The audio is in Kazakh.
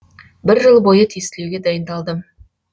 бір жыл бойы тестілеуге дайындалдым